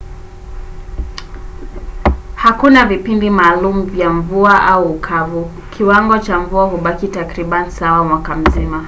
hakuna vipindi maalum vya mvua” au ukavu”: kiwango cha mvua hubaki takribani sawa mwaka mzima